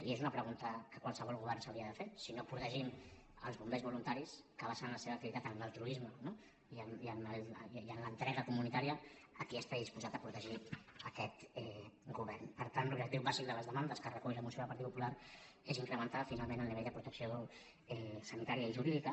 i és una pregunta que qualsevol govern s’hauria de fer si no protegim els bombers voluntaris que basen la seva activitat en l’altruisme no i en l’entrega comunitària a qui està disposat a protegir aquest govern per tant l’objectiu bàsic de les demandes que recull la moció del partit popular és incrementar finalment el nivell de protecció sanitària i jurídica